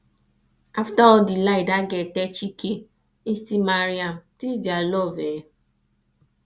after all the lie that girl tell chike e still marry am dis dia love eh